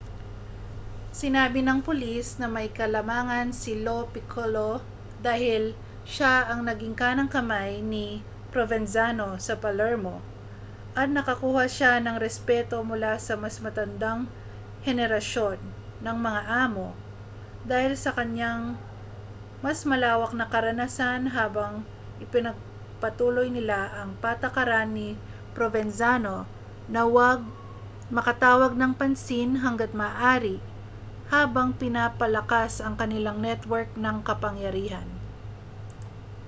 sinabi ng pulis na may kalamangan si lo piccolo dahil siya ang naging kanang-kamay ni provenzano sa palermo at nakakuha siya ng respeto mula sa mas matandang henerasyon ng mga amo dahil sa kaniyang mas malawak na karanasan habang ipinagpatuloy nila ang patakaran ni provenzano na huwag makatawag ng pansin hangga't maaari habang pinapalakas ang kanilang network ng kapangyarihan